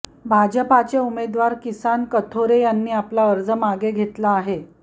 भाजपाचे उमेदवार किसन कथोरे यांनी आपला अर्ज मागे घेतला आहे